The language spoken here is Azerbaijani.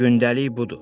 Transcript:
Gündəlik budur.